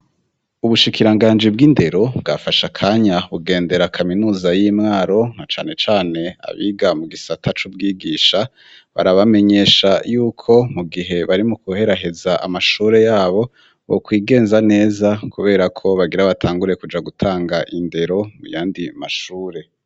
Ubushikiranganji bw'indero bwafashe akanya bugendera kaminuza y'i Mwaro na cane cane abiga mu gisata c'ubwigisha barabamenyesha yuko mu gihe bari mu kuheraheza amashure yabo, bokwigenza neza kubera ko bagira batangure kuja gutanga indero mu yandi mashure.